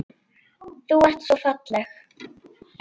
Þú ert svo falleg.